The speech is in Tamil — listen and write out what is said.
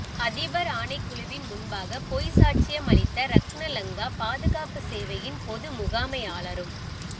அதிபர் ஆணைக்குழுவின் முன்பாக பொய்ச்சாட்சியம் அளித்த ரக்ன லங்கா பாதுகாப்பு சேவையின் பொது முகாமையாளரும்